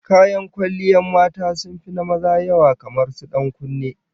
Kayan kwalliyan mata sun fi na maza yawa, kamar su dan kunne